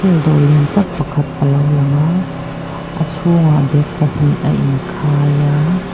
dawr lian tak pakhat alo langa a chhungah bag pahnih a inkhai a.